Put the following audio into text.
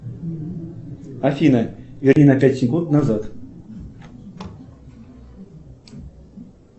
афина верни на пять секунд назад